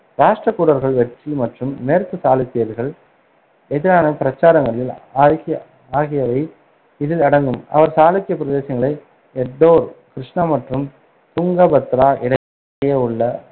ராஷ்டிரகூடர்களின் வெற்றி மற்றும் மேற்கு சாளுக்கியர்களுக்கு எதிரான பிரச்சாரங்கள் ஆக்கிய~ ஆகியவை இதில் அடங்கும். சாளுக்கிய பிரதேசங்களை எடோர், கிருஷ்ணா மற்றும் துங்கபத்ரா இடையே உள்ள